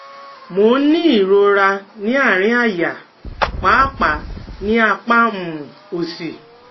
Mo ń ní ìrora ní àárín àyà, pàápàá ní apá um òsì